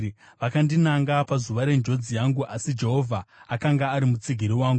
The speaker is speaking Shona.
Vakandinanga pazuva renjodzi yangu, asi Jehovha akanga ari mutsigiri wangu.